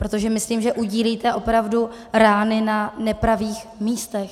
Protože myslím, že udílíte opravdu rány na nepravých místech.